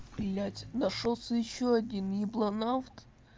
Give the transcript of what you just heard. блядь нашёлся ещё один ебланавт